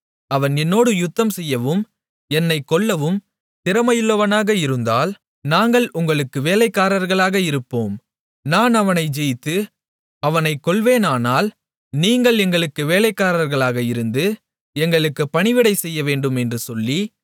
அவன் என்னோடே யுத்தம்செய்யவும் என்னைக் கொல்லவும் திறமையுள்ளவனாக இருந்தால் நாங்கள் உங்களுக்கு வேலைக்காரர்களாக இருப்போம் நான் அவனை ஜெயித்து அவனைக் கொல்வேனானால் நீங்கள் எங்களுக்கு வேலைக்காரர்களாக இருந்து எங்களுக்கு பணிவிடை செய்யவேண்டும் என்று சொல்லி